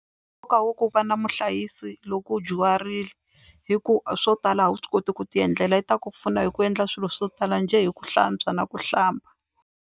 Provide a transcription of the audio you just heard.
Nkoka wa ku va na muhlayisi loko u dyuharile hi ku swo tala a wu swi koti ku tiendlela i ta ku pfuna hi ku endla swilo swo tala njhe hi ku hlantswa na ku hlamba.